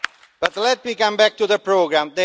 But let me come back to the programme.